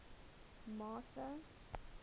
martha